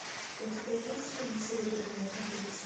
у тебя есть фильм серебряное копытце